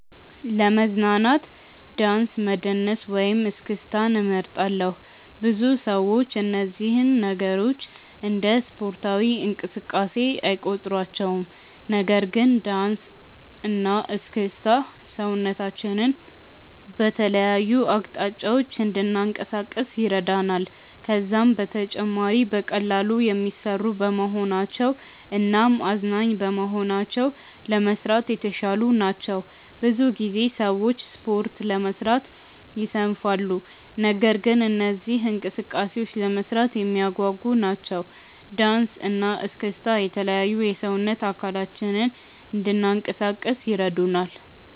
ለመዝናናት ዳንስ መደነስን ወይም እስክስታን እመርጣለሁ። ብዙ ሰዎች እነዚህን ነገሮች እንደ ስፖርታዊ እንቅስቃሴ አይቆጥሯቸውም። ነገር ግን ዳንስ እና እስክስታ ሰውነታችንን በተለያዩ አቅጣጫዎች እንድናንቀሳቅስ ይረዳናል። ከዛም በተጨማሪ በቀላሉ የሚሰሩ በመሆናቸው እናም አዝናኝ በመሆናቸው ለመስራት የተሻሉ ናቸው። ብዙ ጊዜ ሰዎች ስፖርት ለመስራት ይሰንፋሉ። ነገር ግን እነዚህ እንቅስቃሴዎች ለመስራት የሚያጓጉ ናቸው። ዳንሰ እና እስክስታ የተለያዩ የሰውነት አካላችንን እንናንቀሳቀስ ይረዱናል።